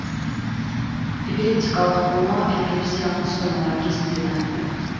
эпилептикалық кома эпилепсиялық ұстамалар кезінде дамиды